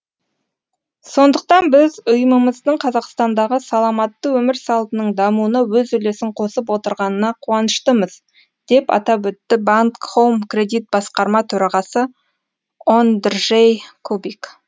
сондықтан біз ұйымымыздың қазақстандағы саламатты өмір салтының дамуына өз үлесін қосып отырғанына қуаныштымыз деп атап өтті банк хоум кредит басқарма төрағасы ондржей кубик